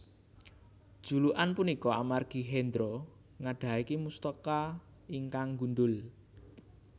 Julukan punika amargi Hendro nggadhahi mustaka ingkang gundhul